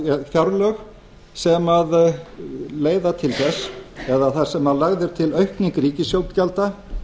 fjárlög sem leiða til þess eða þar sem lögð er til aukning ríkisútgjalda